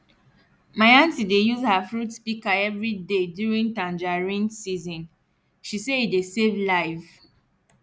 my anti dey use her fruit picker every day during tangerine season she say e dey save life